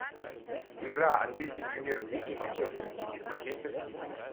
игра английской премьер лиги манчестер сити с манчестер сити